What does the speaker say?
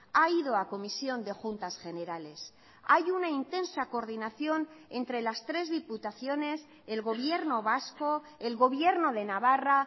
ha ido a comisión de juntas generales hay una intensa coordinación entre las tres diputaciones el gobierno vasco el gobierno de navarra